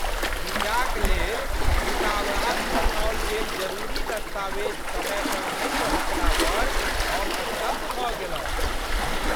वीजाक लेल दूतावास पठाओल गेल जरूरी दस्तावेज समय पर नहि पहुँचला पर हम स्तब्ध भऽ गेलहुँ।